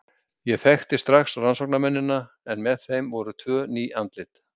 Ég þekkti strax rannsóknarmennina en með þeim voru tvö ný andlit.